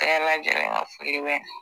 Bɛɛ lajɛlen ka foli bɛ yan